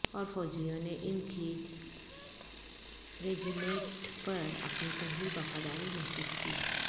اور فوجیوں نے ان کی ریجیمیںٹ پر اپنی پہلی وفاداری محسوس کی